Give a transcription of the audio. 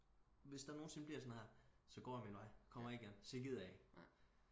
Hvis der nogensinde bliver sådan noget her så går jeg min vej kommer ikke igen så gider jeg ikke